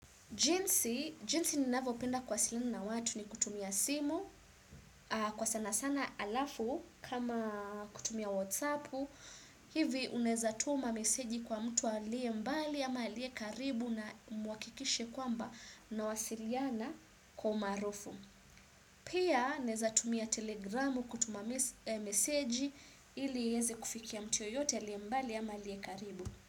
Jinsi, jinsi ninavopenda kuwasiliani na watu ni kutumia simu, kwa sana sana alafu kama kutumia whatsappu, hivi uneza tuma meseji kwa mtu alie mbali ama alie karibu na mwakikishe kwamba mnawasiliana kwa umarufu. Pia, naeza tumia telegramu kutuma message meseji ili iweze kufikia mtu yoyote alie mbali ama karibu.